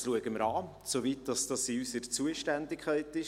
Dies schauen wir an, soweit es in unserer Zuständigkeit liegt.